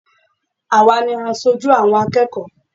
Àwa ni asojú àwọn akẹ́kọ̀ọ́